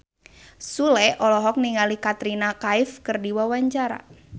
Sule olohok ningali Katrina Kaif keur diwawancara